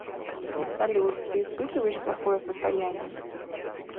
салют ты испытываешь плохое состояние